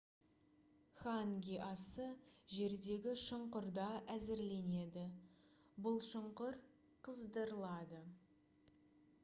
ханги асы жердегі шұңқырда әзірленеді бұл шұңқыр қыздырылады